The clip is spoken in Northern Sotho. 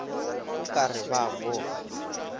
o ka re ba boga